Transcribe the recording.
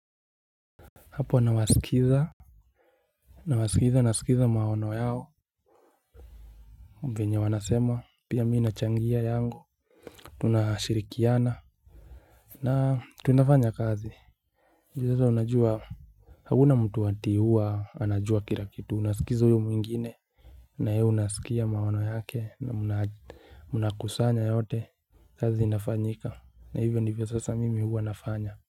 Hapo nawasikiza. Na wasikiza nasikiza maono yao venye wanasema pia mi nachangia yangu. Tunashirikiana. Na tunafanya kazi hivi sasa unajua. Hakuna mtu ati huwa anajua kila kitu unasikiza huyu mwingine. Na hii unasikia maono yake na munakusanya yote. Kazi inafanyika na hivyo ndivyo sasa mimi huwa nafanya.